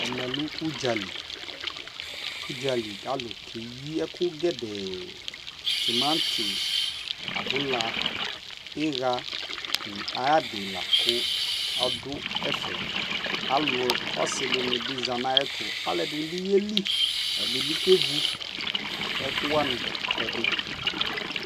Ɛmɛ lɛ udzali, udzali ka lu kɛyi ɛku gɛdɛɛTimati, abula, iɣa nu ayi d i la ku ɔdu ɛfɛƆlu asi di ni bi za na yɛ tu Ɛdi bi yɛ li, ɛdi bi kɛ vu ɛku wani ɛdi